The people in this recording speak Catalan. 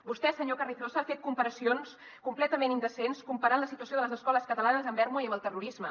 vostè senyor carrizosa ha fet comparacions completament indecents comparant la situació de les escoles catalanes amb ermua i amb el terrorisme